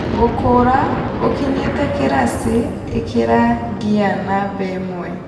Gũkũra. Oũkinyĩte kĩraci, ĩkĩra ngia namba ĩmwe.